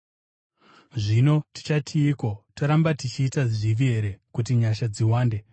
Zvino tichatiiko? Toramba tichiita zvivi here kuti nyasha dziwande?